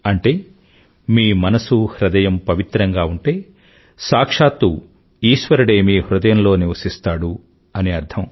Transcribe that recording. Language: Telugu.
అంటే మీమనసు హృదయంపవిత్రంగాఉంటేసాక్షాతూఈశ్వరుడేమీహృదయంలోనివసిస్తాడు అనిఅర్థం